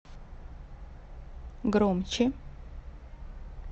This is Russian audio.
громче